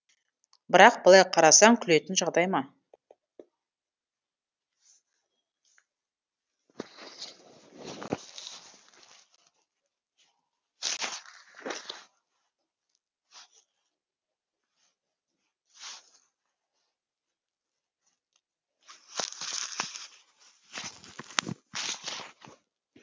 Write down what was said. бірақ былай қарасаң күлетін жағдай ма